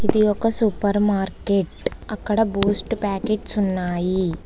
ఇది ఒక supermarket అక్కడ బూస్ట్ ప్యాకెట్స్ ఉన్నాయి.